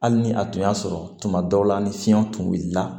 Hali ni a tun y'a sɔrɔ tuma dɔw la ni fiɲɛ tun wulila